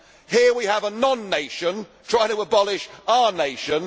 Here we have a non nation trying to abolish our nation.